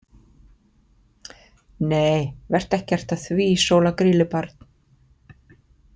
Nei vertu ekkert að því Sóla Grýlubarn.